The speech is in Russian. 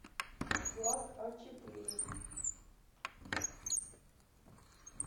влад а четыре